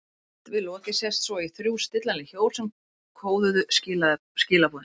Efst við lokið sést svo í þrjú stillanleg hjól sem kóðuðu skilaboðin.